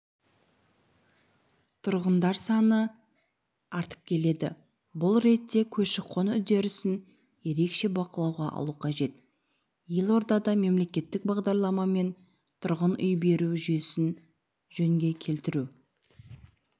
тұрғындар саны артып келеді бұл ретте көші-қон үдерісін ерекше бақылауға алу қажет елордада мемлекеттік бағдарламамен тұрғын үй беру жүйесін жөнге келтіру